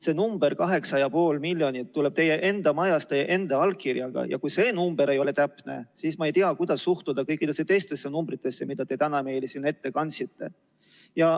See number, 8,5 miljonit tuleb teie enda majast teie enda allkirjaga ja kui see number ei ole täpne, siis ma ei tea, kuidas suhtuda kõikidesse teistesse numbritesse, mida te täna meile siin ette kandsite.